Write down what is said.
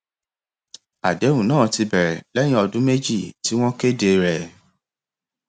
àdéhùn náà ti bẹrẹ lẹyìn ọdún méjì tí wọn kéde rẹ